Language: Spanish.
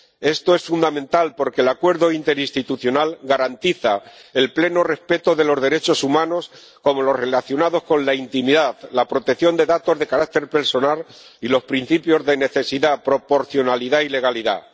Esto es fundamental porque el Acuerdo interinstitucional garantiza el pleno respeto de los derechos humanos, como los relacionados con la intimidad, la protección de datos de carácter personal y los principios de necesidad, proporcionalidad y legalidad.